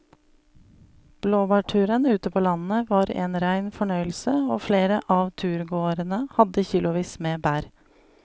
Blåbærturen ute på landet var en rein fornøyelse og flere av turgåerene hadde kilosvis med bær.